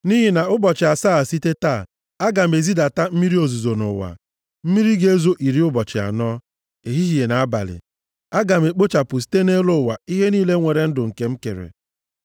Nʼihi na ụbọchị asaa site taa, aga m ezidata mmiri ozuzo nʼụwa. Mmiri a ga-ezo iri ụbọchị anọ, ehihie na abalị. Aga m ekpochapụ site nʼelu ụwa ihe niile nwere ndụ nke m kere.”